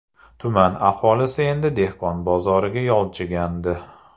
Tuman aholisi endi dehqon bozoriga yolchigandi.